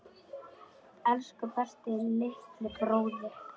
Elsku besti litli bróðir.